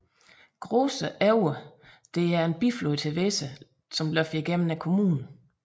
Große Aue der er en biflod til Weser løber gennem kommunen